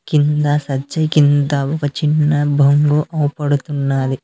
కింద సజ్జే కింద ఒక చిన్న బొంగు అవపడుతున్నాది.